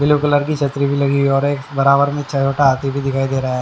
Blue colour की छतरी भी लगी हुई और एक बराबर में छयोटा हाथी भी दिखाई दे रहा है।